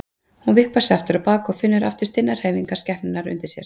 Hún vippar sér aftur á bak og finnur aftur stinnar hreyfingar skepnunnar undir sér.